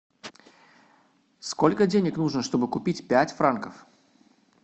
сколько денег нужно чтобы купить пять франков